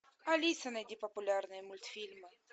алиса найди популярные мультфильмы